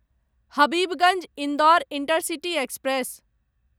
Habibganj Indore intercity express